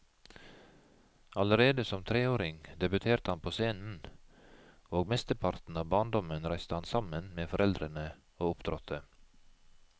Allerede som treåring debuterte han på scenen, og mesteparten av barndommen reiste han sammen med foreldrene og opptrådte.